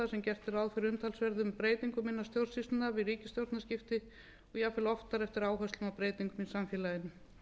gert er ráð fyrir umtalsverðum breytingum innan stjórnsýslunnar við ríkisstjórnarskipti og jafnvel oftar eftir áherslum og breytingum í samfélaginu